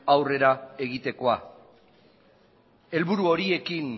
aurrera egitekoa helburu horiekin